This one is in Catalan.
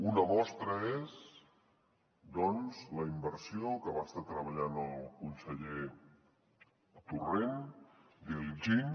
una mostra és doncs la inversió que va estar treballant el conseller torrent d’iljin